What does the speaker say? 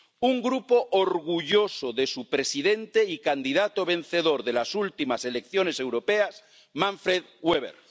un Grupo orgulloso de su presidente y candidato vencedor de las últimas elecciones europeas, Manfred Weber.